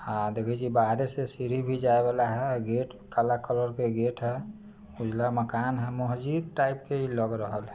हा देखईये ची बाहारे से सीडी भी जाये वाला हैं गेट कला कलर का गेट हैं उजला मकान हैं महजिद टाइप के इ लग रहल हैं।